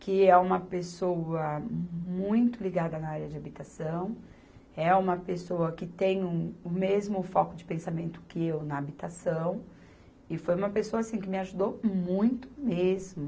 que é uma pessoa muito ligada na área de habitação, é uma pessoa que tem o, o mesmo foco de pensamento que eu na habitação, e foi uma pessoa assim que me ajudou muito mesmo.